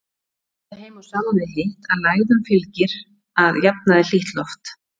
Kemur það heim og saman við hitt, að lægðum fylgir að jafnaði hlýtt loft.